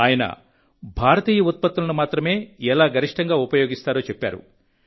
ఆయన భారతీయ ఉత్పత్తులను మాత్రమే ఎలా గరిష్టంగా ఉపయోగిస్తారో చెప్పారు